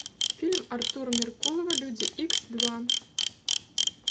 фильм артура меркулова люди икс два